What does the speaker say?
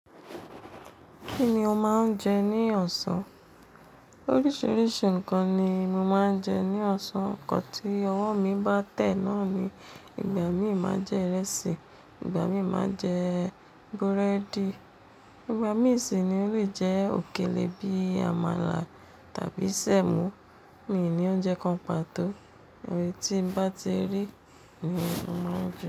Kí ni o máa ń jẹ ní ọ̀sán? Oríṣiríṣi nǹkan ni mo máa ń jẹ ní ọ̀sán, nǹkan tó ọwọ́ mi bá tẹ̀ náà ni. Ìgbà mí máa jẹ ìrẹsì, ìgbà mí máa jẹ búrẹ́dì, ìgbà mí sì ni ó lè jẹ òkèlè bí i àmàlà tàbí sẹ̀mo. Mi n ní oúnjẹ kan pàtó, èyí tí n bá ti rí ni mo máa ń jẹ.